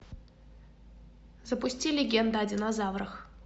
запусти легенда о динозаврах